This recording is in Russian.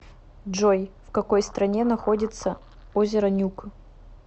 джой в какой стране находится озеро нюк